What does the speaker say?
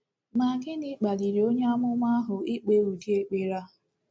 Ma gịnị kpaliri onye amụma ahụ ikpe udi ekpere a?